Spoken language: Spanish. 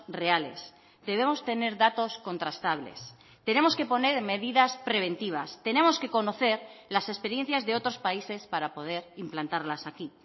reales debemos tener datos contrastables tenemos que poner medidas preventivas tenemos que conocer las experiencias de otros países para poder implantarlas aquí